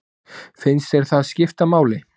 Finnst þér það skipta máli?